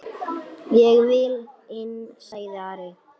Ég vil inn, sagði Ari.